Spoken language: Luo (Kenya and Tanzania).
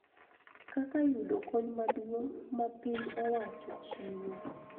Kaka yudo kony maduong� ma piny owacho chiwo.